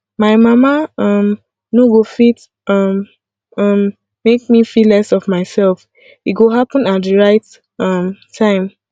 my mama um no go fit um um make me feel less of myself e go happen at the right um time